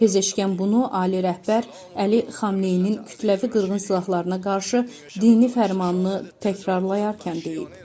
Pezeşkən bunu ali rəhbər Əli Xamneyinin kütləvi qırğın silahlarına qarşı dini fərmanını təkrarlayarkən deyib.